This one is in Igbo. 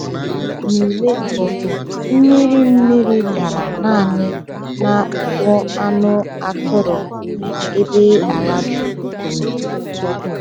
N’ule mbụ, mmiri mmiri dara naanị n’akpụkpọ anụ atụrụ, ebe ala jụrụ oyi.